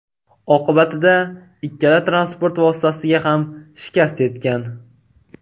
Oqibatida ikkala transport vositasiga ham shikast yetgan.